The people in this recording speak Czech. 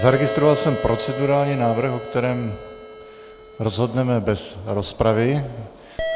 Zaregistroval jsem procedurální návrh, o kterém rozhodneme bez rozpravy.